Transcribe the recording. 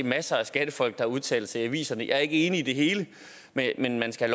masser af skattefolk der udtaler sig i aviserne jeg er ikke enig i det hele men man skal